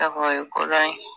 o ye kodɔn ye